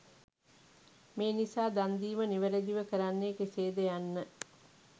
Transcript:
මේ නිසා දන් දීම නිවැරැදිව කරන්නේ කෙසේද යන්න